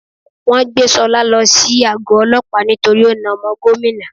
Wọ́n gbé Sọlá lo sí àgọ́ olópàá nítorí ó na omo Gómìnà